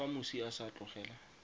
fa moswi a sa tlogela